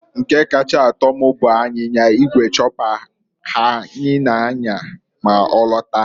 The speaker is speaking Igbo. Nke kacha atọ m bụ anyinya igwe chopper ya anyị na- anya ma ọ lata.